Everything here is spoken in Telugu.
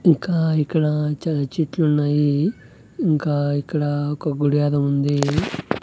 ఇంకా ఇక్కడ చాలా చెట్లున్నాయి ఇంకా ఇక్కడ ఒక గుడి యాదో ఉంది.